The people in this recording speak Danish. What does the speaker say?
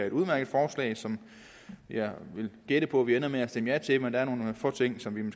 et udmærket forslag som jeg vil gætte på at vi ender med at stemme ja til men der er nogle få ting som vi